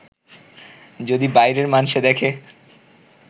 যদি বাইরের মানষে দেখে